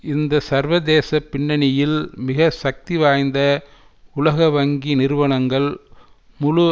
இந்த சர்வதேச பின்னணியில் மிக சக்தி வாய்ந்த உலக வங்கி நிறுவனங்கள் முழு